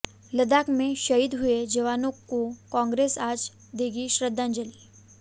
लद्दाख में शहीद हुए जवानों को कांग्रेस आज देगी श्रद्धांजलि